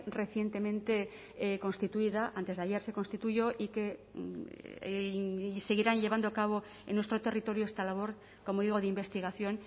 recientemente constituida antes de ayer se constituyó y que seguirán llevando a cabo en nuestro territorio esta labor como digo de investigación